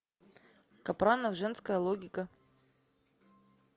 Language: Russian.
капранов женская логика